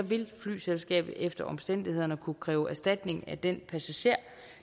vil flyselskabet efter omstændighederne kunne kræve erstatning af den passager